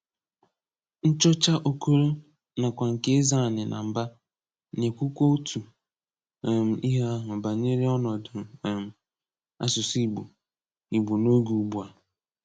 Nchọ́chá Okòlo, nakwá nke Ézeáni na Mbàh, na-ekwùkwa otu um ihe ahụ banyere ọ̀nọ̀dụ̀ um asụ̀sụ́ Ìgbò Ìgbò n’ógè ùgbù a.